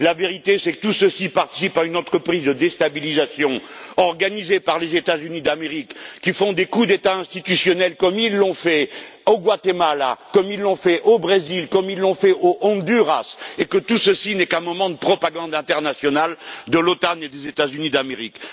La vérité, c'est que tout cela participe à une entreprise de déstabilisation organisée par les États Unis d'Amérique, qui font des coups d'État institutionnels comme ils l'ont fait au Guatemala, comme ils l'ont fait au Brésil, comme ils l'ont fait au Honduras et que tout cela n'est qu'un moment de propagande internationale de l'OTAN et des États Unis d'Amérique.